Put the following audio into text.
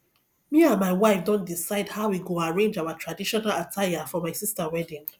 me and my wife don decide how we go arrange our traditional attire for my sister wedding